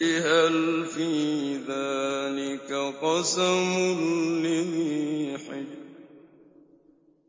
هَلْ فِي ذَٰلِكَ قَسَمٌ لِّذِي حِجْرٍ